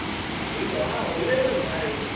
ಹಾ Vivo ಹಾ ಒಳ್ಳೆದುಂಟು ಹಾಗೆ.